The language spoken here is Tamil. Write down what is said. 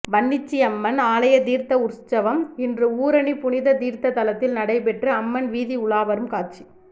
வன்னிச்சியம்மன் ஆலய தீர்த்த உற்சவம் இன்று ஊரணி புனித தீர்த்த தலத்தில் நடைபெற்று அம்மன் வீதி உலாவரும் காட்சி